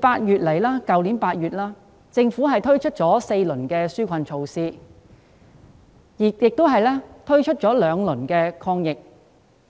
自去年8月，政府已推出4輪紓困措施及2輪防疫